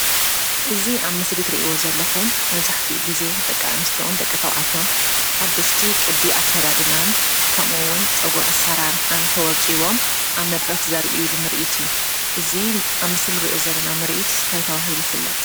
እዚ አብ ምስሊ ትሪእይዎ ዘለኹም መብዛሕቲኡ ግዜ ንደቂ አንስትዮን ንደቂ ተባዕትዮን ሓደሽቲ ቅዲ አከዳድናን ከምኡ’ውን ፀጉሪ አሰራርሓን ተወቂቦም አብ መድረኽ ዘሪኡሉ ምርኢት እዩ፡፡ እዚ አብ ምስሊ እንሪኦ ዘለና ምርኢት እንታይ ተባሂሉ ይፍለጥ?